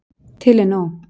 Til er nóg.